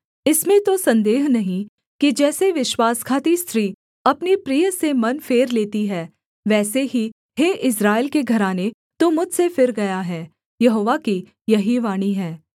इसमें तो सन्देह नहीं कि जैसे विश्वासघाती स्त्री अपने प्रिय से मन फेर लेती है वैसे ही हे इस्राएल के घराने तू मुझसे फिर गया है यहोवा की यही वाणी है